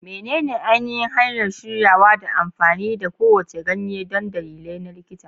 Menene ainihin hanyar shiryawa da amfani da kowace ganye don dalilai na likita?